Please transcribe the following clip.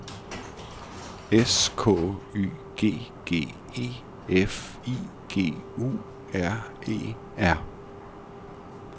S K Y G G E F I G U R E R